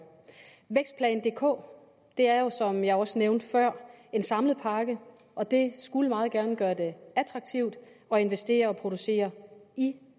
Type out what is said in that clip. vækstplan dk er jo som jeg også nævnte før en samlet pakke og den skulle meget gerne gøre det attraktivt at investere og producere i